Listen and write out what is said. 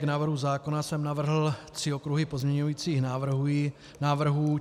K návrhu zákona jsem navrhl tři okruhy pozměňovacích návrhů.